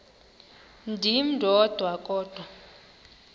ndim ndodwa kodwa